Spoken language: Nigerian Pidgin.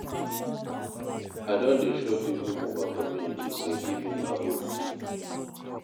I don dey show pipo for my community sey giving na good tin.